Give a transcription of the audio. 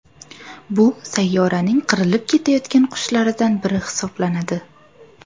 Bu sayyoraning qirilib ketayotgan qushlaridan biri hisoblanadi.